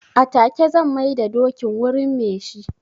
A take zan mai da dokin wurin me shi.